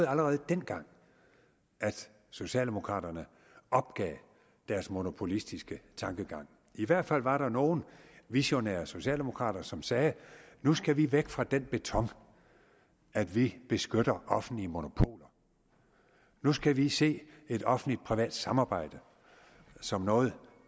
allerede dengang at socialdemokraterne opgav deres monopolistiske tankegang i hvert fald var der nogle visionære socialdemokrater som sagde nu skal vi væk fra den beton at vi beskytter offentlige monopoler nu skal vi se et offentlig privat samarbejde som noget